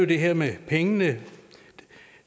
det her med pengene